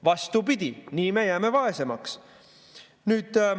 Vastupidi, nii me jääme vaesemaks.